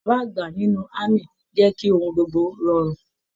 Bàbá Àlàbá nínú ámì jẹ kí ohùn gbogbo rọrùn.